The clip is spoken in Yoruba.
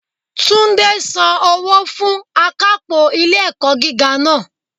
Túndé san owó fún akápò ilé ẹ̀kọ́ gíga náà